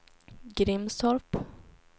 Grimstorp